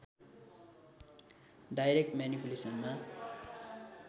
direct म्यानिपुलेसनमा